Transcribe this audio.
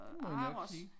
Det må jeg nok sige